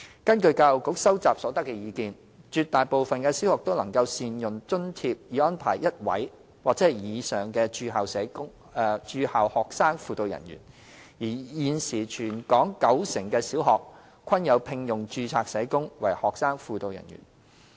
根據教育局收集所得的意見，絕大部分的小學都能善用津貼以安排1位或以上的駐校學生輔導人員；而現時全港九成的小學均有聘用註冊社工為學生輔導人員。